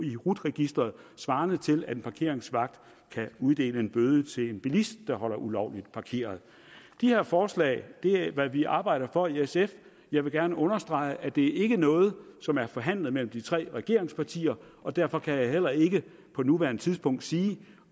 i rut registeret svarende til at en parkeringsvagt kan uddele en bøde til en bilist der holder ulovligt parkeret de her forslag er hvad vi arbejder for i sf jeg vil gerne understrege at det ikke er noget som er forhandlet mellem de tre regeringspartier og derfor kan jeg heller ikke på nuværende tidspunkt sige